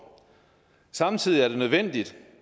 samtidig er det nødvendigt